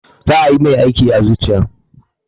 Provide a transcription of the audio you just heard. Za ayi mai aiki a zuciya.